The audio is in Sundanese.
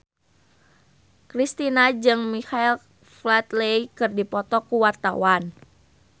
Kristina jeung Michael Flatley keur dipoto ku wartawan